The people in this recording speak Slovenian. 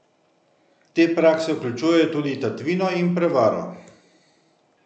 Te prakse vključujejo tudi tatvino in prevaro.